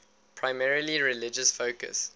primarily religious focus